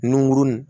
Nunkurunin